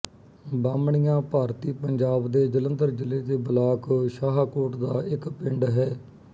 ਬਾਹਮਣੀਆਂ ਭਾਰਤੀ ਪੰਜਾਬ ਦੇ ਜਲੰਧਰ ਜ਼ਿਲ੍ਹੇ ਦੇ ਬਲਾਕ ਸ਼ਾਹਕੋਟ ਦਾ ਇੱਕ ਪਿੰਡ ਹੈ